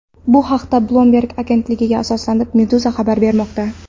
Bu haqda, Bloomberg agentligiga asoslanib, Meduza xabar bermoqda .